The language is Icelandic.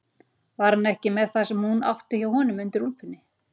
Var hann ekki með það sem hún átti hjá honum undir úlpunni?